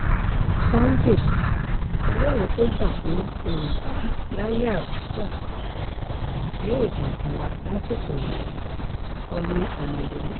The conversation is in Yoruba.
sunday ọlọ́run tó jà fún yorùbá láyè abcha yóò jà fún wa lásìkò yìí-kọ́lé ọmọlọ́lù